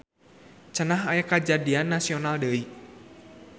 Cenah aya kajadian nasional deui.